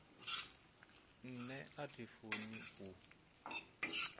nṋe a thi funi u